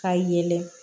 Ka yɛlɛ